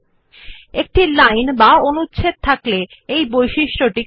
এই বৈশিষ্ট্য হল যে এর বেশী করে চোখে পড়ে যখন আপনি একটি লেখার লাইন অথবা অনুচ্ছেদ আছে